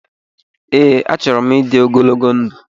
Ee, achọrọ m ịdị ogologo ndụ